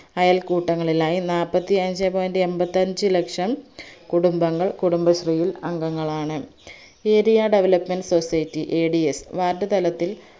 അയൽക്കൂട്ടങ്ങളിലായി നാൽപ്പത്തി അഞ്ചേ point എമ്പത്തഞ്ചു ലക്ഷം കുടുംബങ്ങൾ കുടുംബശ്രീയിൽ അംഗങ്ങളാണ് area development societyadsward തലത്തിൽ